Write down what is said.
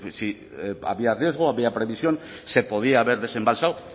si había riesgo había previsión se podía haber desembalsado